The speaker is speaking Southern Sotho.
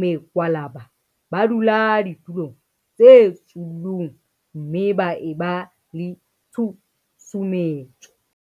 mekwalaba ba dula ditulong tse tsullung mme ba e ba le tshusumetso.